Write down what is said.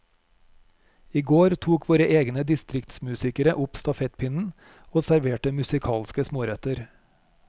I går tok våre egne distriktsmusikere opp stafettpinnen, og serverte musikalske småretter.